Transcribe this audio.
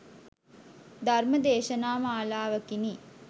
ධර්ම දේශනා මාලාවකිනි.